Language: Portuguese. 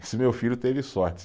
Esse meu filho teve sorte.